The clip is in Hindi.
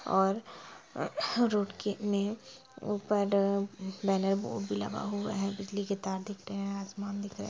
--और रोड के में ऊपर बैनर बोर्ड भी लगा हुआ है बिजली के तार दिख रहे हैं आसमान दिख रहा है।